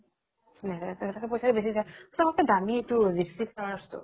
পইচা বেচি যায়। চবত্কে দামি এইতো, lipstick flowers টো।